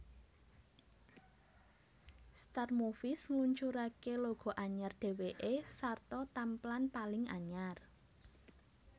Star Movies ngluncuraké logo anyar déwéké sarta tamplan paling anyar